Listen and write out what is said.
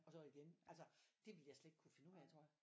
Og så igen altså det ville jeg slet ikke kunne finde ud af tror jeg